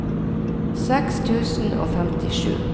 seks tusen og femtisju